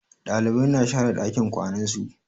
Ɗalibai na share ɗakin kwanan su.